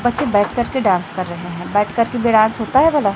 बच्चे बैठ कर के डांस रहें है बैठ कर के भी डांस होता है भला।